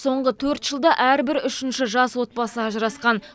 соңғы төрт жылда әрбір үшінші жас отбасы ажырасқан